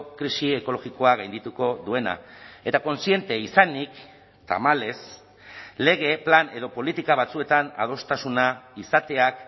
krisi ekologikoa gaindituko duena eta kontziente izanik tamalez lege plan edo politika batzuetan adostasuna izateak